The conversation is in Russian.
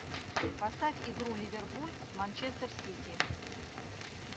поставь игру ливерпуль с манчестер сити